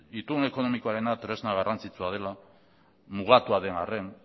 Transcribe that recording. itun ekonomikoarena tresna garrantzitsua dela mugatu den arren